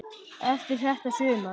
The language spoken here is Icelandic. Eftir þetta sumar.